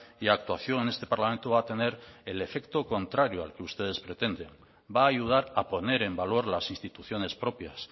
y actuación en este parlamento va a tener el efecto contrario al que ustedes pretenden va a ayudar a poner en valor las instituciones propias